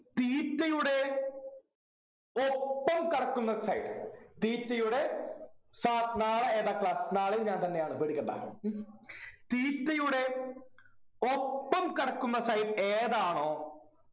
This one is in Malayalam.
theta യുടെ ഒപ്പം കിടക്കുന്ന side theta യുടെ sir നാളെ ഏതാ class നാളെയും ഞാൻ തന്നെയാണ് പേടിക്കണ്ട theta യുടെ ഒപ്പം കിടക്കുന്ന side ഏതാണോ